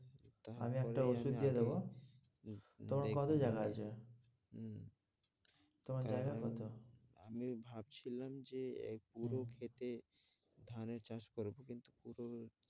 আমি একটা ওষুধ দিয়ে দেবো তোমার কত জায়গা আছে? তোমার জায়গা কত? আমি ভাবছিলাম যে এক পুরো ক্ষেতে ধানের চাষ করবো কিন্তু কি করবো,